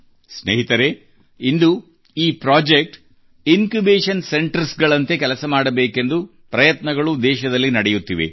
ಸ್ನೇಹಿತರೇ ಇಂದು ಈ ಪ್ರೊಜೆಕ್ಟ್ ಇನ್ಕ್ಯೂಬೇಷನ್ ಸೆಂಟರ್ಸ್ ನಂತೆ ಕೆಲಸ ಮಾಡಬೇಕೆಂದು ಪ್ರಯತ್ನಗಳು ದೇಶದಲ್ಲಿ ನಡೆಯುತ್ತಿವೆ